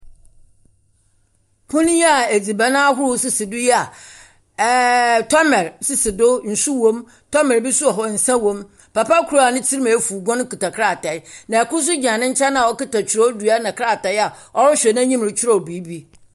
Pono yi a edziban ahorow sisi do yi a ɛɛ tɔmer sisi do, nsu wom. Tɔmɛr bi nso wɔ hɔ nsa wom. Papa kor a ne tsir efuw guen kita krataa, na kor nso gyina ne nkyɛn a ɔkita twerɛdua na kratae a ɔrehwɛ n'anim retwerɛ biribi.